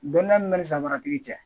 Dɔnniya min bɛ ni samara tigi